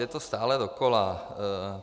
Je to stále dokola.